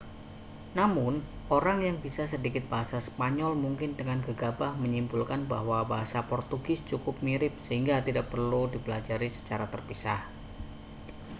namun orang yang bisa sedikit bahasa spanyol mungkin dengan gegabah menyimpulkan bahwa bahasa portugis cukup mirip sehingga tidak perlu dipelajari secara terpisah